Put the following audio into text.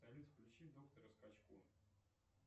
салют включи доктора скачко